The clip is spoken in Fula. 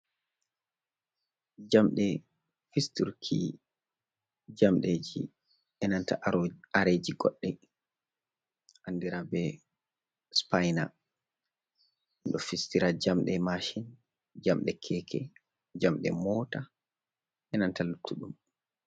Njamɗe fisturki njamɗeeji, enanta aro areeji goɗɗe, andiraa bee sipaina. Ɗo fistira njamɗe maashin, njamɗe keeke, njamɗe moota, enanta luttuɗum.